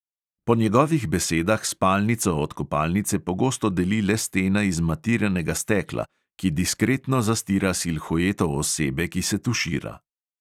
Po njegovih besedah spalnico od kopalnice pogosto deli le stena iz matiranega stekla, ki diskretno zastira silhueto osebe, ki se tušira.